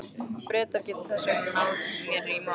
Bretar geta þess vegna náð mér í nótt.